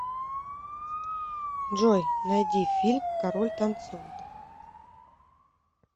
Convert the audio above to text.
джой найди фильм король танцует